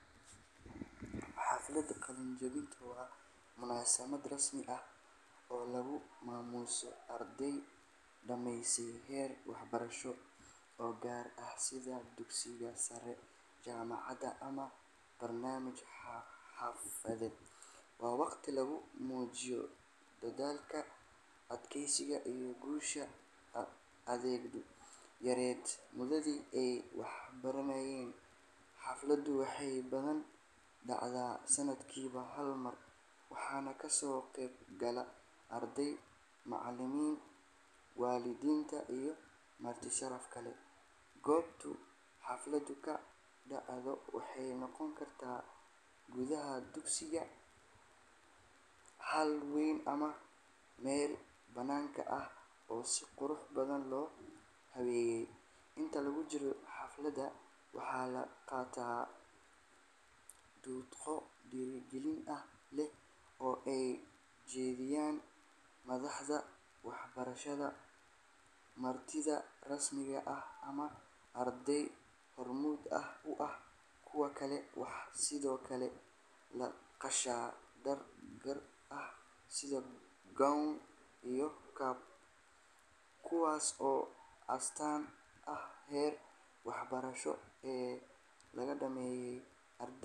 Xafladda qalin-jabintu waa munaasabad rasmi ah oo lagu maamuuso ardayda dhamaysatay heer waxbarasho oo gaar ah sida dugsiga sare, jaamacadda ama barnaamij xirfadeed. Waa waqti lagu muujiyo dadaalka, adkeysiga iyo guusha ardaydu gaareen muddadii ay waxbaranayeen. Xafladdu waxay badanaa dhacdaa sanadkiiba hal mar, waxaana kasoo qayb gala ardayda, macallimiinta, waalidiinta iyo marti sharaf kale. Goobta xafladdu ka dhacdo waxay noqon kartaa gudaha dugsiga, hool weyn ama meel bannaanka ah oo si qurux badan loo habeeyey. Inta lagu jiro xafladda, waxaa la qaataa khudbado dhiirrigelin leh oo ay jeedinayaan madaxda waxbarashada, martida rasmiga ah ama arday hormuud u ah kuwa kale. Waxaa sidoo kale la gashaa dhar gaar ah sida gown iyo cap, kuwaas oo astaan u ah heerka waxbarasho ee la dhammeeyey.